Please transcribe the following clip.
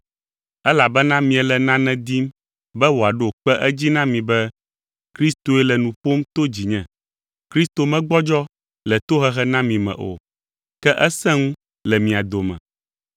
elabena miele nane dim be wòaɖo kpe edzi na mi be Kristoe le nu ƒom to dzinye. Kristo megbɔdzɔ le tohehe na mi me o, ke esẽ ŋu le mia dome.